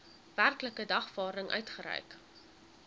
werklike dagvaarding uitgereik